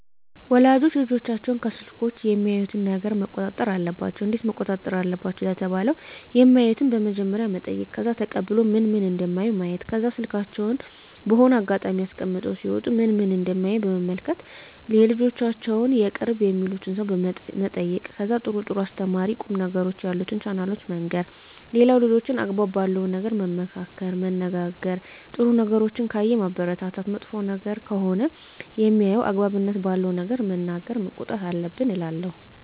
ወላጆች ልጆቻቸውን ከስልኮች የሚያዩትን ነገረ መቆጣጠር አለባቸው እንዴት መቆጣጠር አለባቸው ለተባለው የማዩትን በመጀመሪያ መጠይቅ ከዛ ተቀብሎ ምን ምን እደሚያዩ ማየት ከዛ ስልካቸውን በሆነ አጋጣሚ አስቀምጠው ሲወጡ ምን ምን እደሚያዩ መመልከት የልጆቻቸውን የቅርብ የሚሉትን ሰው መጠየቅ ከዛ ጥሩ ጥሩ አስተማሪ ቁም ነገሮችን ያሉትን ቻናሎችን መንገር ሌላው ልጆችን አግባብ ባለው ነገር መመካከር መነጋገር ጥሩ ነገሮችን ካየ ማበረታታት መጥፎ ነገር ከሆነ ሜያየው አግባብነት ባለው ነገር መናገር መቆጣት አለብን እላለው